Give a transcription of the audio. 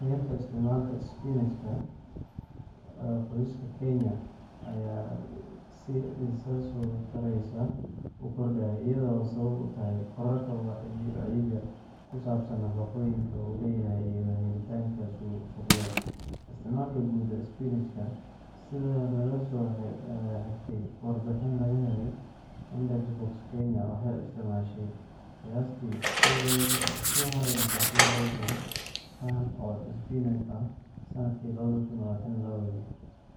Heerka isticmaalka isbinaajka ee qoysaska Kenya ayaa si isa soo taraysa u kordhaya, iyadoo ay sabab u tahay kororka wacyiga ku saabsan nafaqooyinka uu leeyahay iyo helitaankiisa suuqyada. Isticmaalka Guud ee Isbinaajka Sida laga soo xigtay warbixin laga helay IndexBox, Kenya waxay isticmaashay qiyaastii 213,000 tan oo isbinaaj ah sanadkii 2022,